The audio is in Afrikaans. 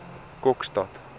kokstad